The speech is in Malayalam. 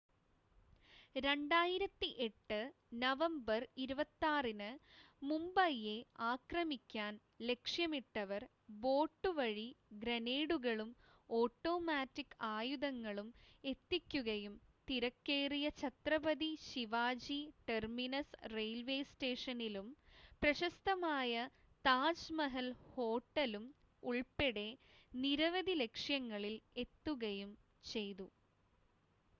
2008 നവംബർ 26-ന് മുംബൈയെ ആക്രമിക്കാൻ ലക്ഷ്യമിട്ടവർ ബോട്ട് വഴി ഗ്രനേഡുകളും ഓട്ടോമാറ്റിക് ആയുധങ്ങളും എത്തിക്കുകയും തിരക്കേറിയ ഛത്രപതി ശിവാജി ടെർമിനസ് റെയിൽവേ സ്റ്റേഷനിലും പ്രശസ്തമായ താജ്മഹൽ ഹോട്ടലും ഉൾപ്പെടെ നിരവധി ലക്ഷ്യങ്ങളിൽ എത്തുകയും ചെയ്തു